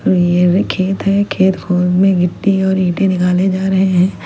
मेरे खेत है खेत में मिट्टी और ईंटे निकाले जा रहे हैं।